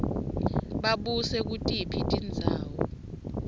babuse kutiphi tindzawo